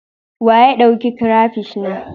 Wa ya ɗauk crapish na?